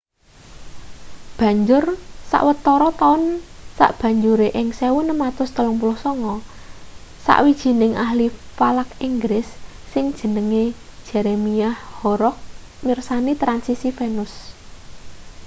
banjur sawetara taun sabanjure ing 1639 sawijining ahli falak inggris sing jenenge jeremiah horrocks mirsani transisi venus